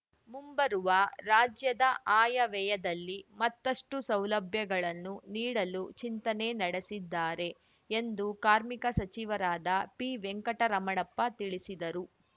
ಮುಂಬರುವ ರಾಜ್ಯದ ಆಯವ್ಯಯದಲ್ಲಿ ಮತ್ತಷ್ಟುಸೌಲಭ್ಯಗಳನ್ನು ನೀಡಲು ಚಿಂತನೆ ನಡೆಸಿದ್ದಾರೆ ಎಂದು ಕಾರ್ಮಿಕ ಸಚಿವರಾದ ಪಿವೆಂಕಟರಮಣಪ್ಪ ತಿಳಿಸಿದರು